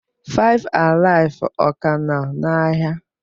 FiveAlive, ọ ka nọ n'ahịa?